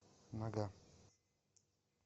нога